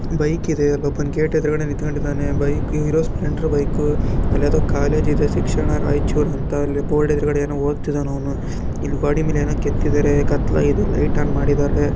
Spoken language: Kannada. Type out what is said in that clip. ಬೈಕ್ ಇದೆ ಅಲ್ಲೊಬ್ಬ ಗೇಟ್ ಎದ್ರಗಡೆ ನಿಂತಕೊಂಡಿದನೆ ಬೈಕ ಹಿರೊ ಸ್ಪ್ಲೆಂಡರ್‌ ಬೈಕು ಅಲ್ಲಿ ಯಾವುದೊ ಕಾಲೆಜಿ ದೆ ಶಿಕ್ಷಣ ರೈಚುರು ಅಂತ ಅಲ್ಲಿ ಬೊರ್ಡಿದೆ ಎದ್ರುಗಡೆ ಏನೊ ಒದ್ತಾ ಇದ್ದಾನೆ ಅವನು ಇಲ್ಲಿ ಗೊಡಿಮೆಲ ಏನೊ ಕೆತ್ತಿದ್ದಾರೆ ಕತ್ಲಾಗಿದೆ ಲೈಟ ಆನ್‌ ಮಾಡೊದ್ದಾರೆ .